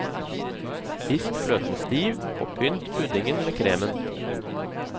Pisk fløten stiv, og pynt puddingen med kremen.